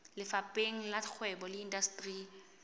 lefapheng la kgwebo le indasteri